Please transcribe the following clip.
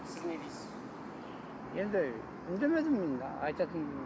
сіз не дейсіз енді үндемедім енді айтатын